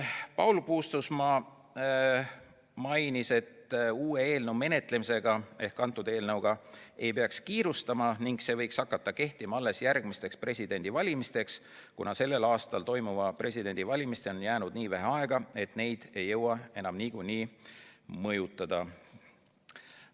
Paul Puustusmaa mainis, et uue eelnõu menetlemisega ehk kõnealuse eelnõuga ei peaks kiirustama ning see võiks hakata kehtima alles järgmiste presidendivalimiste puhul, kuna sellel aastal toimuvate presidendivalimisteni on jäänud nii vähe aega, et neid ei jõua enam niikuinii mõjutada.